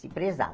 Se prezava.